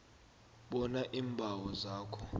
bona iimbawo zawo